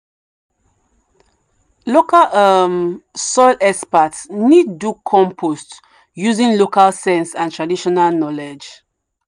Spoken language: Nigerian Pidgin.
local um soil experts need do compost using local sense and traditional knowledge.